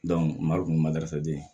marikun ma garisɛgɛ di